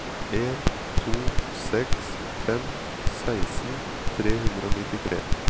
en to seks fem seksten tre hundre og nittitre